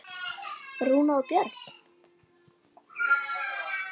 Rúnar og Björn.